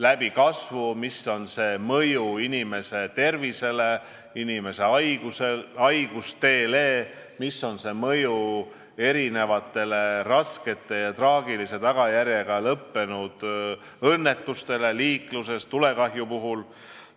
Tarbimise kasvu kaudu on sel mõju inimeste tervisele ja haigustele, sel on mõju raske ja traagilise tagajärjega lõppenud liiklusõnnetuste arvule, tulekahjude arvule.